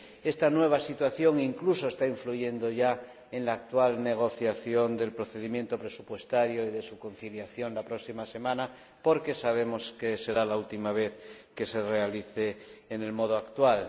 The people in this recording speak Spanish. Esta nueva situación está influyendo ya, incluso, en la actual negociación del procedimiento presupuestario y de su conciliación la próxima semana, porque sabemos que será la última vez que se realice en el modo actual.